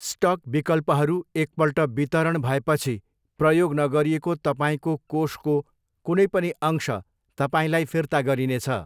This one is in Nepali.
स्टक विकल्पहरू एकपल्ट वितरण भएपछि प्रयोग नगरिएको तपाईँको कोषको कुनै पनि अंश तपाईँलाई फिर्ता गरिनेछ।